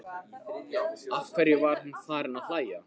Af hverju var hún farin að hlæja?